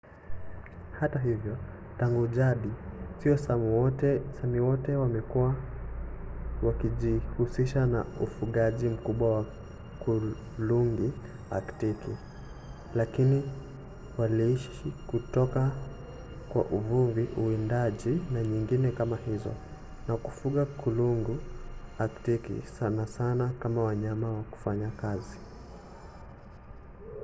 hata hivyo tangu jadi sio sami wote wamekuwa wakijihusisha na ufugaji mkubwa wa kulungu aktiki lakini waliishi kutoka kwa uvuvi uwindaji na nyingine kama hizo na kufuga kulungu aktiki sana sana kama wanyama wa kufanya kazi